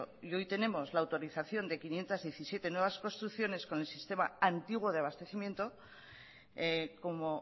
y hoy tenemos la autorización de quinientos diecisiete nuevas construcciones con el sistema antiguo de abastecimiento como